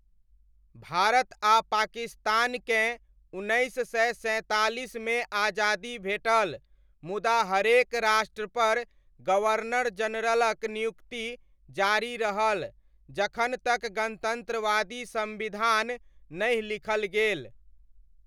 भारत आ पाकिस्तानकेँ उन्नैस सय सैँतालिसमे आजादी भेटल, मुदा हरेक राष्ट्रपर गवर्नर जनरलक नियुक्ति जारी रहल जखन तक गणतन्त्रवादी संविधान नहि लिखल गेल।